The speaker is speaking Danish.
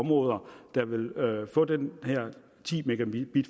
områder der vil få den her ti megabit